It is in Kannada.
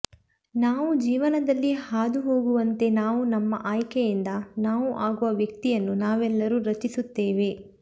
ನಾವು ಜೀವನದಲ್ಲಿ ಹಾದುಹೋಗುವಂತೆ ನಾವು ನಮ್ಮ ಆಯ್ಕೆಯಿಂದ ನಾವು ಆಗುವ ವ್ಯಕ್ತಿಯನ್ನು ನಾವೆಲ್ಲರೂ ರಚಿಸುತ್ತೇವೆ